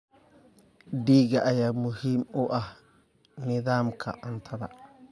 Digaag ayaa muhiim u ah nidaamka cuntada.